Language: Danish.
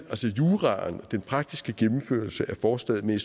juraen den praktiske gennemførelse af forslaget men